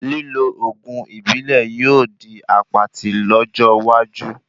Lílo oògùn ìbílẹ̀ yóò di apatí lójó iwaju